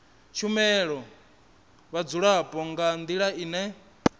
shumela vhadzulapo nga ndila ine